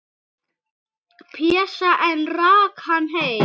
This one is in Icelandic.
Pésa, en rak hann heim.